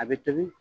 A bɛ tobi